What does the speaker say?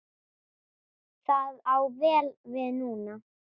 Það á vel við núna.